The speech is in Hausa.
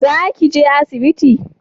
Za ki je asibiti?